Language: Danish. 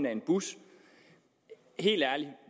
af en bus helt ærligt